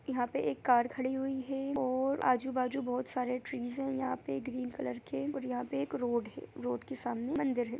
यहां पे एक कार खड़ी हुई है और आजू-बाजू बहुत सारे ट्री है यहां पे ग्रीन कलर के और यहां पे एक रोड है रोड के सामने मंदिर है।